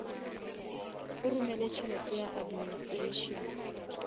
o romele tšhelete ya administration